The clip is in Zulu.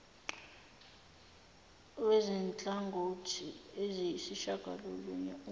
wezinhlangothi eziyisishagalolunye umumo